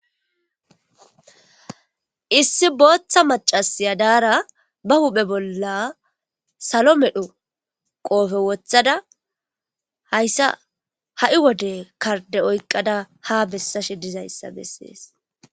Isi bootha macasiyo dara ba huphe bolla salo medho qope wothada haysa ha'i wode karde oykada ha besashe dizaysa beses